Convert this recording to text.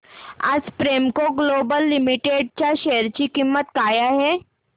आज Premco global limited च्या share ची किंमत काय आहे